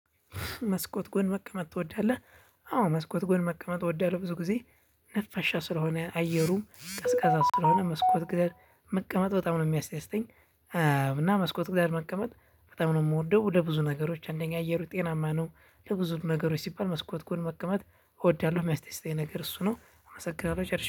መስኮት ጎን መቀመጥ ትወዳለህ? አዎ መስኮት ጎን መቀመጥ እወዳለሁ ብዙ ጊዜ ነፋሻ ስለሆነ አየሩም ቀስቃሳ ስለሆነ መስኮት ጋር መቀመጥ በጣም ነው የሚያስደስተኝ። እና መስኮት ጋር መቀመጥ በጣም ነው የምወደው። ለብዙ ነገሮች አንደኛ አየሩ ጤናማ ነው። ለብዙ ነገሮች ሲባል መስኮት ጎን መቀመጥ እወዳለሁ የሚያስደስተኝ ነገር እሱ ነው አመሰግናለሁ